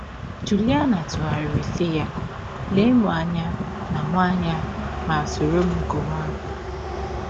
Jụliana tụgharịrị isi ya, lee m anya ma m anya ma sọrọ m gụwa abụ!